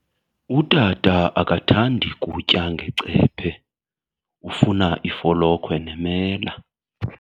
Utata akathandi kutya ngecephe, ufuna ifolokhwe nemela.